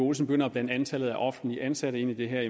også begynder at blande antallet af offentligt ansatte ind i det her